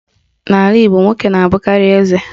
N'ala Igbo, nwoke na-abụkarị eze.